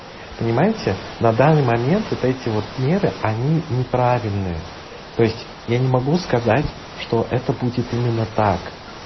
понимаете на данный момент вот эти вот меры они неправильные то есть я не могу сказать что это будет именно так